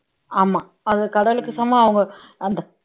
ஆமா கடவுளுக்கு சமம் அவங்க